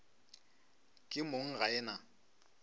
ke mong ga e na